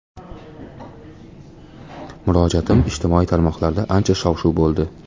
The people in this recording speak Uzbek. Murojaatim ijtimoiy tarmoqlarda ancha shov-shuv bo‘ldi.